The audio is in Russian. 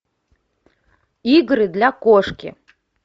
игры для кошки